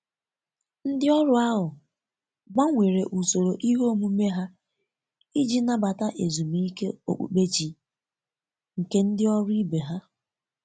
Ndi ọrụ ahụ gbanwere ụsoro ihe omume ha iji nabata ezumike okpụkpe chi nke ndi ọrụ ibe ha